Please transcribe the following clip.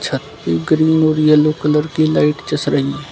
छत पे ग्रीन और येलो कलर की लाइट जस रही है।